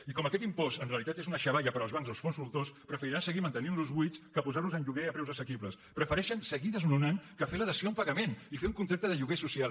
i com que aquest impost en realitat és una xavalla per als bancs o els fons voltor preferiran seguir mantenintlos buits que posarlos en lloguer a preus assequibles prefereixen seguir desnonant que fer la dació en pagament i fer un contracte de lloguer social